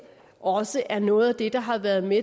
også er noget af det der har været med